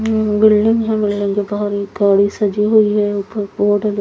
अं building है ये गाड़ी सजी हुई है ऊपर बोर्ड --